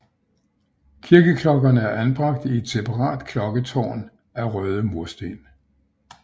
Kirkeklokkerne er anbragt i et separat klokketårn af røde mursten